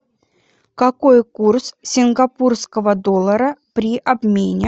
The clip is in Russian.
какой курс сингапурского доллара при обмене